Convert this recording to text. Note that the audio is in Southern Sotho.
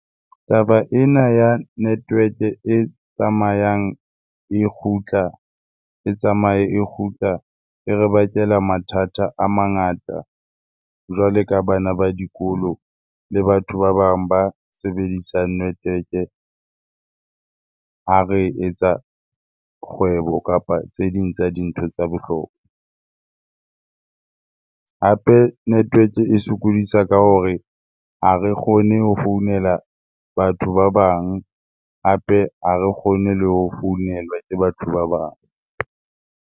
Taba ena ya network-e tsamayang e kgutla, e tsamaye e kgutla e re bakela mathata a mangata jwale ka bana ba dikolo le batho ba bang ba sebedisang network-e ha re etsa kgwebo kapa tse ding tsa dintho tsa . Hape network-e e sokodisa ka hore ha re kgone ho founela batho ba bang, hape ha re kgone le ho founelwa ke batho ba bang.